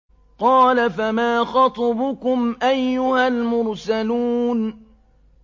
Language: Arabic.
قَالَ فَمَا خَطْبُكُمْ أَيُّهَا الْمُرْسَلُونَ